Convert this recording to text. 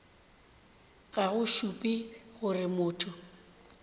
ga go šupe gore motho